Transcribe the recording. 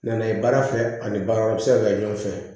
Na ye baara fɛ ani baara wɛrɛ bi se ka kɛ ɲɔgɔn fɛ